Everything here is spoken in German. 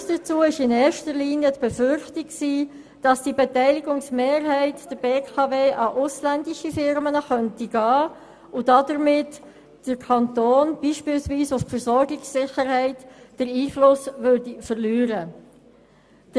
Der Grund war in erster Linie die Befürchtung, dass die Beteiligungsmehrheit der BKW an ausländische Firmen gehen und damit der Kanton beispielsweise den Einfluss auf die Versorgungssicherheit verlieren könnte.